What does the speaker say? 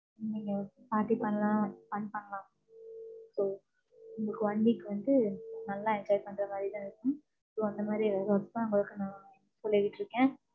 நீங்க party பண்ணலாம், fun பண்ணலாம். So உங்களுக்கு one week வந்து, நல்லா enjoy பண்ற மாதிரிதான் இருக்கும். So அந்த மாதிரி resorts தான் உங்களுக்கு நான் சொல்லிகிட்டிருக்கேன்.